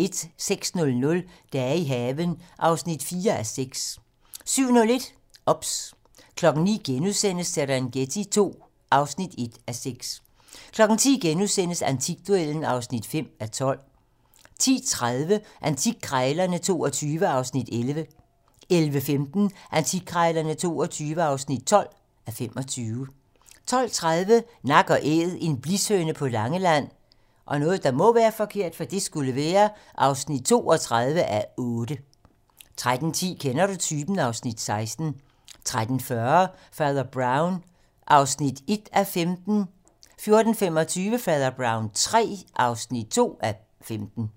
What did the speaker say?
06:00: Dage i haven (4:6) 07:01: OBS 09:00: Serengeti II (1:6)* 10:00: Antikduellen (5:12)* 10:30: Antikkrejlerne XXII (11:25) 11:15: Antikkrejlerne XXII (12:25) 12:30: Nak & Æd - en blishøne på Langeland (32:8) 13:10: Kender du typen? (Afs. 16) 13:40: Fader Brown (1:15) 14:25: Fader Brown III (2:15)